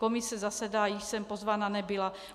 Komise zasedá - již jsem pozvaná nebyla.